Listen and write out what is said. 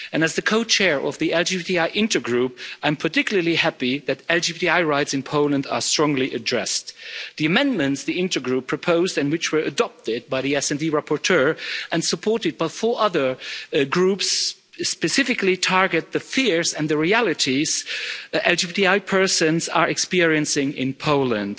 As the co chair of the LGBTI Intergroup, I am particularly happy that LGBTI rights in Poland are strongly addressed. The amendments the Intergroup proposed and which were adopted by the SD rapporteur and supported by four other groups specifically target the fears and the realities that LGBTI persons are experiencing in Poland.